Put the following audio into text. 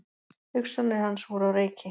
Hugsanir hans voru á reiki.